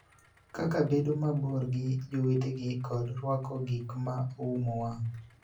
kaka bedo mabor gi jowetegi kod rwako gik ma oumo wang�.